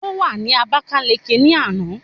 Ó wà ní Àbákáliki ní àná